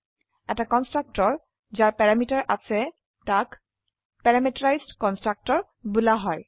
এটা কন্সট্ৰকটৰ যাৰ প্যাৰামিটাৰ আছে তাক পেৰামিটাৰাইজড কনষ্ট্ৰাক্টৰ বোলা হয়